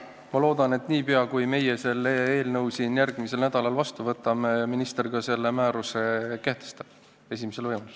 Ma loodan, et niipea kui meie selle eelnõu siin järgmisel nädalal seadusena vastu võtame, minister selle määruse ka esimesel võimalusel kehtestab.